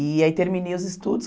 E aí terminei os estudos.